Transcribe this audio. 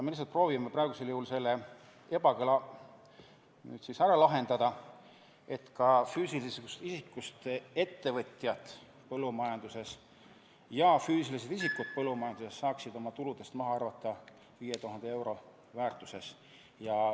Me lihtsalt proovime praegu selle ebakõla ära kaotada, et ka füüsilisest isikust ettevõtjad põllumajanduses saaksid oma tuludest maha arvata 5000 eurot.